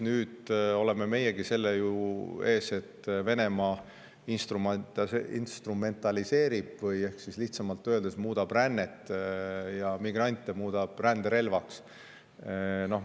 Nüüd oleme meiegi selle ees, et Venemaa instrumentaliseerib, ehk lihtsamalt öeldes, muudab rännet ja migrante ränderelvaks.